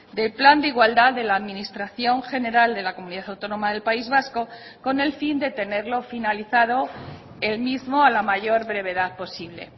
del plan de igualdad de la administración general de la comunidad autónoma del país vasco con el fin de tenerlo finalizado el mismo a la mayor brevedad posible